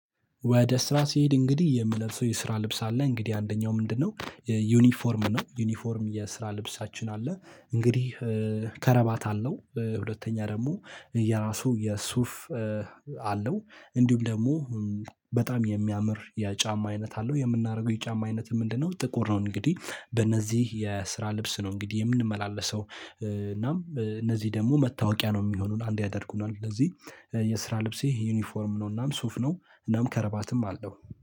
ወደ ስራ ሲሄድ እንግዲህ የምለብሰው የስራ ልብስ አለ እንግዲህ አንደኛው ምንድነው ዩኒፎርም ነው ዩኒፎርም የስራ ልብሳችን አለ እንግዲህ ከረባት አለው ሁለተኛ ደግሞ የራሱ የሱፍ አለው እንዲሁም ደግሞ በጣም የሚያምር የጫማ አይነት አለው የምናደርገው የጫማ አይነት ምንድነው? ጥቁር ነው እንግዲህ በእነዚህ የስራ ልብስ ነው እንግዲህ የምንመላለሰው። እናም እነዚህ ደግሞ መታወቂያ ነው የሚሆነው አንድ ያደርጉናል እንደዚህ የስራ ልብሴ ዩኒፎርም ነውእናም። ሱፍ ነው እናም ከረባትም አለው